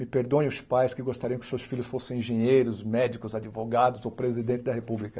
Me perdoem os pais que gostariam que seus filhos fossem engenheiros, médicos, advogados ou presidente da República.